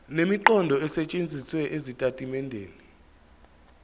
nemiqondo esetshenzisiwe ezitatimendeni